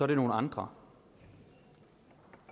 det nogle andre